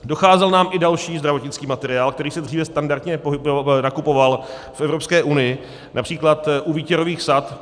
Docházel nám i další zdravotnický materiál, který se dříve standardně nakupoval v Evropské unii, například u výtěrových sad.